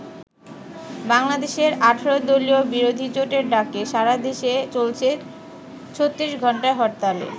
বাংলাদেশের ১৮-দলীয় বিরোধীজোটের ডাকে সারাদেশে চলছে ৩৬ ঘন্টার হরতালে।